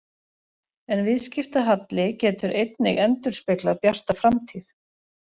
En viðskiptahalli getur einnig endurspeglað bjarta framtíð.